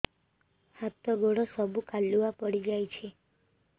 ହାତ ଗୋଡ ସବୁ କାଲୁଆ ପଡି ଯାଉଛି